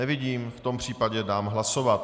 Nevidím, v tom případě dám hlasovat.